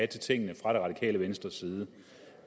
til tingene fra det radikale venstres side